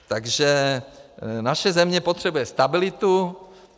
Takže naše země potřebuje stabilitu.